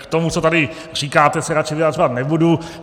K tomu, co tady říkáte, se radši vyjadřovat nebudu.